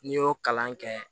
N'i y'o kalan kɛ